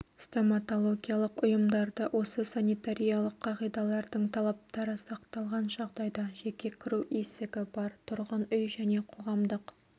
стоматологиялық ұйымдарды осы санитариялық қағидалардың талаптары сақталған жағдайда жеке кіру есігі бар тұрғын үй және қоғамдық